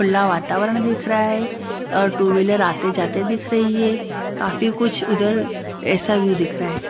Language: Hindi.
खुल्ला वातावरण दिख रहा है और टू व्हीलर आते जाते दिख रई है काफी कुछ उधर ऐसा व्यू दिख रा है।